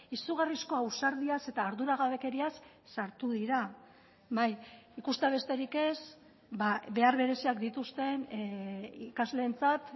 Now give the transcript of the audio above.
izugarrizko ausardiaz eta ardura gabekeriaz sartu dira bai ikustea besterik ez behar bereziak dituzten ikasleentzat